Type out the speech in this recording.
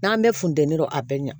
N'an bɛ funteni dɔrɔn a bɛ ɲa